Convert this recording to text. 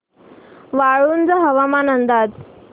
वाळूंज हवामान अंदाज